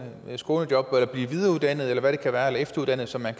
skånejob eller blive videreuddannet eller efteruddannet så man